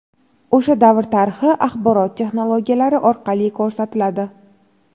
o‘sha davr tarixi axborot texnologiyalari orqali ko‘rsatiladi.